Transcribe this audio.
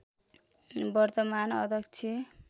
वर्तमान अध्यक्ष